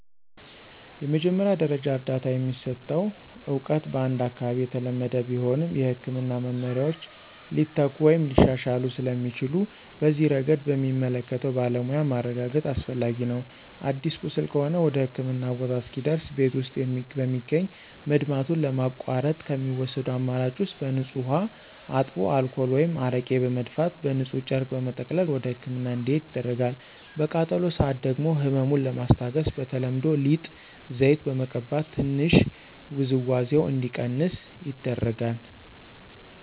የመጀመሪያ ደረጃ እርዳታ የሚሰጠው እውቀት በአንድ አካባቢ የተለመደ ቢሆንም፣ የሕክምና መመሪያዎች ሊተኩ ወይም ሊሻሻሉ ስለሚችሉ በዚህ ረገድ በሚመለከተው ባለሙያ ማረጋገጥ አስፈላጊ ነው። አዲስ ቁስል ከሆነ ወደህክምና ቦታ እስኪደርስ ቤት ውስጥ በሚገኝ መድማቱን ለማቋረጥ ከሚወሰዱ አማራጭ ውስጥ በንፁህ ውሃ አጥቦ አልኮል ወይም አረቄ በመድፋት በንፁህ ጨርቅ በመጠቅለል ወደህክምና እንዲሄድ ይደረጋል። በቃጠሎ ሰአት ደግሞ ህመሙን ለማስታገስ በተለምዶ ሊጥ፣ ዘይት በመቀባት ትንሽ ውዝዋዜው እንዲቀንስ ይደረጋል።